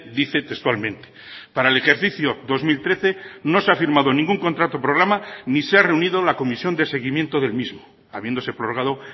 dice textualmente para el ejercicio dos mil trece no se ha firmado ningún contrato programa ni se ha reunido la comisión de seguimiento del mismo habiéndose prorrogado